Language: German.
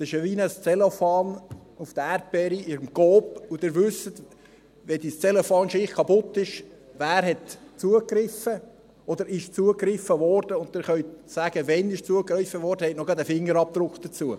Das ist wie ein Zellophan auf den Erdbeeren im Coop, und Sie wissen, wenn diese Zellophan-schicht kaputt ist, wer zugegriffen hat, oder dass zugegriffen wurde, und Sie können sagen, wann zugegriffen wurde und haben auch noch gleich einen Fingerabdruck dazu.